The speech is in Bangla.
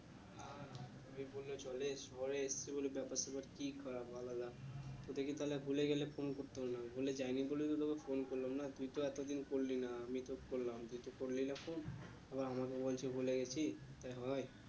ওই বললে চলে শহরে এসেছি বলে ব্যাপার স্যাপার আলাদা তোদের কে তাহলে ভুলে গেলে phone করতাম না ভুলে যাই নি বলেই তো তোকে phone করলাম না, তুই তো এতদিন করলি না আমি তো করলাম, তুই তো করলি না phone আবার আমাকে বলছে ভুলে গেছি তা হয়ে